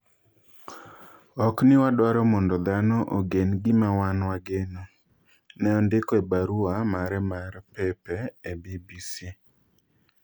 "Okni wadwaro mondo dhano ogen gima wan wageno," Ne ondiko e baruwa mare mar pepe e BBC.